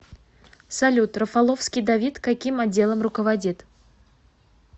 салют рафаловский давид каким отделом руководит